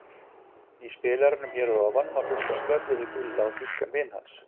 Í spilaranum hér að ofan má hlusta á spjallið við Gulla og þýskan vin hans.